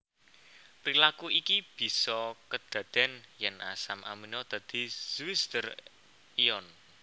Prilaku iki bisa kedadèn yèn asam amino dadi zwitter ion